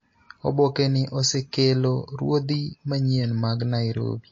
Oboke ni osekelo ruodhi manyien mag Nairobi